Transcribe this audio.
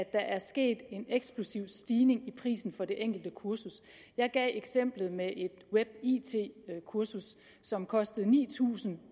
er sket en eksplosiv stigning i prisen for det enkelte kursus jeg gav eksemplet med et web it kursus som kostede ni tusind